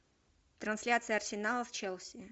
трансляция арсенала с челси